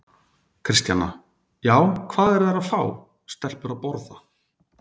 Kristjana: Já, hvað eru þær að fá, stelpur að borða?